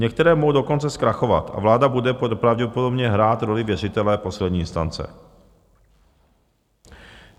Některé mohou dokonce zkrachovat a vláda bude pravděpodobně hrát roli věřitele poslední instance.